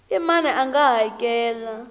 i mani a nga hakela